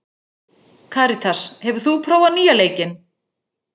Karitas, hefur þú prófað nýja leikinn?